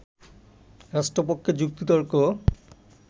রাষ্ট্রপক্ষে যুক্তিতর্ক